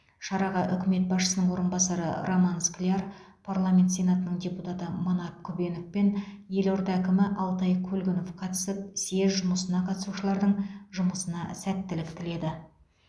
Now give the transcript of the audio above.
шараға үкімет басшысының орынбасары роман скляр парламент сенатының депутаты манап күбенов пен елорда әкімі алтай көлгінов қатысып съезд жұмысына қатысушылардың жұмысына сәттілік тіледі